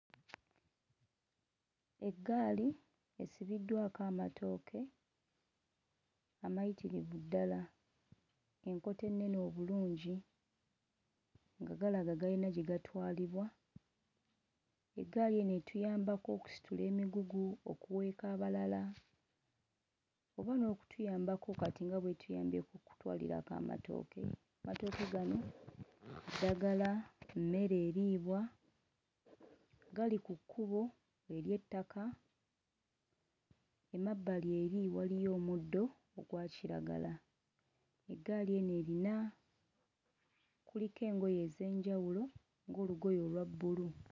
Eggaali esibiddwako amatooke amayitirivu ddala, enkota ennene obulungi nga galaga gayina gye gatwalibwa. Eggaali eno etuyambako okusitula emigugu, okuweeka abalala oba n'okutuyambako kati bw'etuyambyeko okutwalirako amatooke. Amatooke gano ddagala, mmere eriibwa, gali ku kkubo ery'ettaka, emabbali eri waliyo omuddo ogwa kiragala. Eggaali eno erina kuliko engoye ez'enjawulo ng'olugoye olwa bbulu.